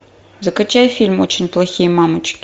закачай фильм очень плохие мамочки